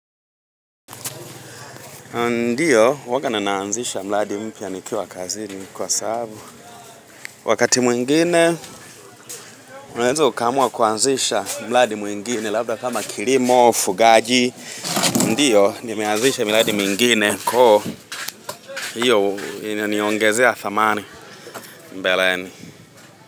Ndiyo, huwanga na aanzisha mradi mpia nikiwa kazini kwa sababu Wakati mwingine, unaweza ukamua kuanzisha mradi mwingine labda kama kilimo, fugaji Ndiyo, nimeanzisha miradi mingine Koo, hiyo inaniongezea thamani mbeleni.